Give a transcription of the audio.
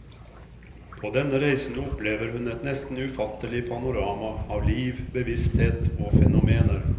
På denne reisen opplever hun et nesten ufattelig panorama av liv, bevissthet og fenomener.